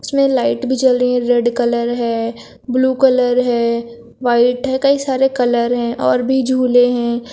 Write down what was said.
इसमें लाइट भी जल रही है रेड कलर है ब्लू कलर है व्हाइट है कई सारे कलर है और भी झूले हैं।